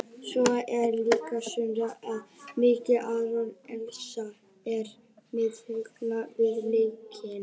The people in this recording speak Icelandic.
Svo er líka spurning hversu mikið Aron Elís er með hugann við leikinn?